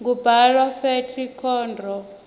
kubhalwa fletinkhondro